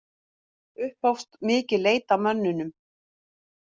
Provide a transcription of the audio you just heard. Upphófst mikil leit að mönnunum